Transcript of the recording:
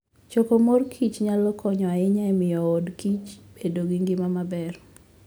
Choko mor kich nyalo konyo ahinya e miyoodkich bedo gi ngima maber.